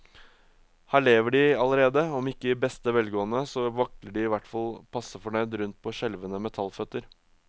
Her lever de allerede, om ikke i beste velgående, så vakler de i hvert fall passe fornøyd rundt på skjelvende metallføtter.